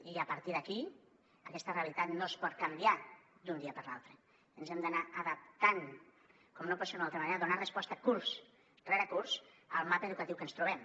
i a partir d’aquí aquesta realitat no es pot canviar d’un dia per l’altre ens hem d’anar adaptant com no pot ser d’una altra manera a donar resposta curs rere curs al mapa educatiu que ens trobem